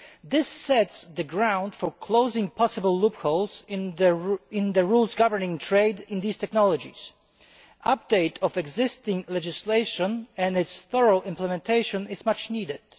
This lays the groundwork for closing possible loopholes in the rules governing trade in these technologies. The updating of existing legislation and its thorough implementation is much needed.